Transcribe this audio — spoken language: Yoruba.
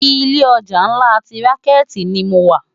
Ilé òjá nlá ti ránkéti ni mó wá